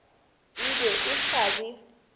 e be e sa be